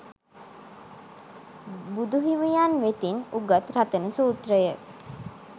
බුදුහිමියන් වෙතින් උගත් රතන සූත්‍රය